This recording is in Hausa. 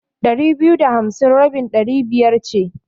Ɗari biyu da hamsi rabin Ɗari biyar ce.